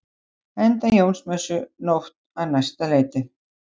Enda Jónsmessunótt á næsta leiti.